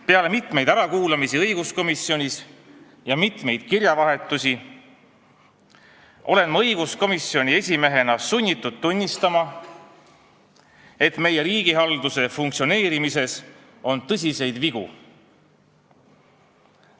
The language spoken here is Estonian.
Peale mitut ärakuulamist õiguskomisjonis ja kirjavahetuse pidamist olen ma õiguskomisjoni esimehena sunnitud tunnistama, et meie riigihalduse funktsioneerimises on tõsiseid vigu.